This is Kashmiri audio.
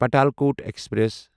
پاتالکوٹ ایکسپریس